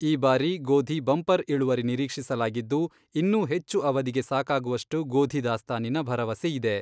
ಈ ಬಾರಿ ಗೋಧಿ ಬಂಪರ್ ಇಳುವರಿ ನಿರೀಕ್ಷಿಸಲಾಗಿದ್ದು, ಇನ್ನೂ ಹೆಚ್ಚು ಅವಧಿಗೆ ಸಾಕಾಗುವಷ್ಟು ಗೋಧಿ ದಾಸ್ತಾನಿನ ಭರವಸೆ ಇದೆ.